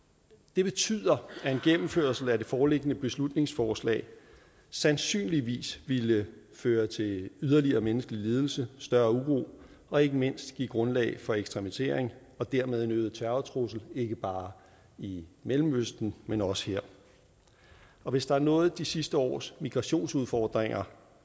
det betyder at en gennemførelse af det foreliggende beslutningsforslag sandsynligvis ville føre til yderligere menneskelig lidelse større uro og ikke mindst give grundlag for ekstremisme og dermed en øget terrortrussel ikke bare i mellemøsten men også her og hvis der er noget de sidste års migrationsudfordringer